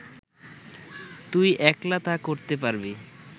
তুই একলা তা করতে পারবি